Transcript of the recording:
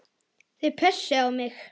Þau pössuðu á mig.